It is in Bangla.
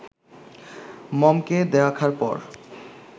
মমকে দেখার পর